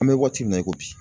An bɛ waati min na i ko bi.